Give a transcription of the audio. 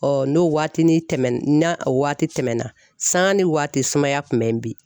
n'o waatini tɛmɛna n'a waati tɛmɛna sanga ni waati sumaya kun bɛ in bin.